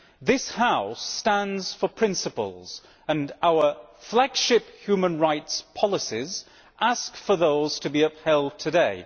This House stands for principles, and our flagship human rights policies ask for those to be upheld today.